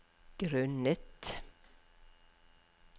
grunnet